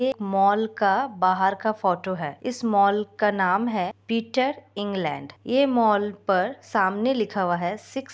mall का बाहर का फोटो है इस मॉल का नाम है पिटर इंग्लेंड ये मॉल पर सामने लिखा हुआ है सिक्स --